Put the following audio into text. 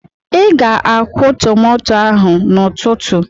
Ị ga-akwụ tomato n'ụtụtụ!